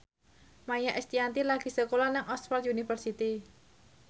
Maia Estianty lagi sekolah nang Oxford university